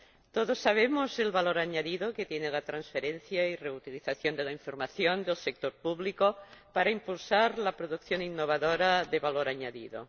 Todos conocemos el valor añadido que tienen la transferencia y la reutilización de la información del sector público para impulsar la producción innovadora de valor añadido.